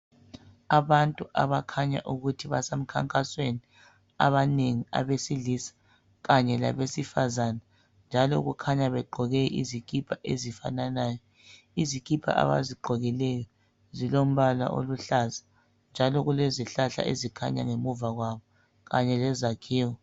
Abantu abakhanya ukuthi basemkhankasweni. Abanengi abesilisa kanye labesifazana njalo kukhanya begqoke izikipa ezifananayo, izikipa abazigqokileyo zilombala oluhlaza, njalo kulezihlahla ezikhanya ngemuva kwabo kanye lezakhiwo.